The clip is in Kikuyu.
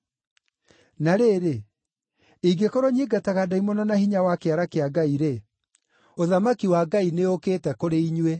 Na rĩrĩ, ingĩkorwo nyingataga ndaimono na hinya wa kĩara kĩa Ngai-rĩ, ũthamaki wa Ngai nĩũũkĩte kũrĩ inyuĩ.